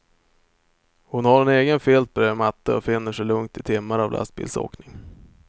Hon har egen filt bredvid matte och finner sig lugnt i timmar av lastbilsåkning.